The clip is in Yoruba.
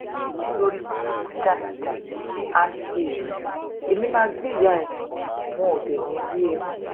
olórìbùrùkù játijàti asáré ẹ̀mí máa gbé ìyá ẹ̀ wọn ò dé ní í rí ẹ mọ́